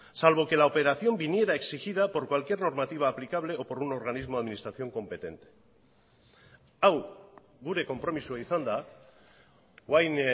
salvo que la operación viniera exigida por cualquier normativa aplicable o por un organismo de administración competente hau gure konpromisoa izan da orain